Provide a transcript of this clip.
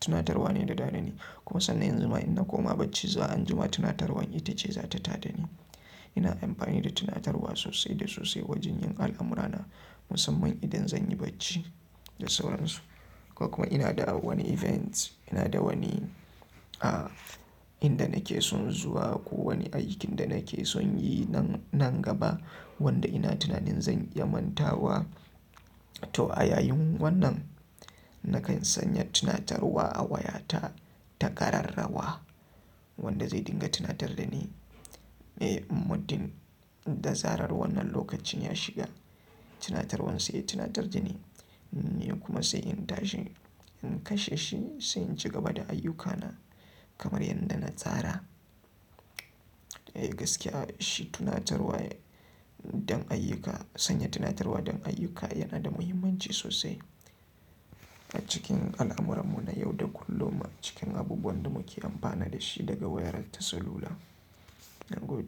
tunatarwa ne ta tadani. Kuma sannan yanzu ma in na koma bacci, zuwa anjima tunatarwar ita ce za ta taɗani. Ina amfani da tunatarwa sosai da sosai wajen yin al'amurana, musamman idan zan yi bacci da sauran su, ko kuma ina da wani event, ina da wani, inda nake son zuwa ko wani aikin da nake son yi nan gaba wanda ina tunanin zan iya mantawa. To a yayin wannan nakan sanya tunatarwa a wayata ta kararrawa wanda zai dinga tunatar da ni muddin da zarar wannan lokacin ya shiga. Tunatarwan sai ya tunatar da ni, nu kuma sai in tashi in kashe shi sai in ci gaba da ayyukana kamar yadda na tsara. Eh gaskiya shi tunatarwa don ayyuka, sanya tunatarwa don ayyuka yana da muhimmanci sosai a cikin al'amurarmu na yau da kullum a cikin abubuwan da muke amfana da shi daga wayar tarcellula.